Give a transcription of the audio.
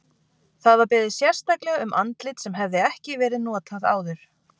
Það var beðið sérstaklega um andlit sem hefði ekki verið notað áður.